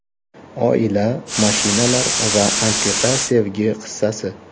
Oila, mashinalar va antiqa sevgi qissasi.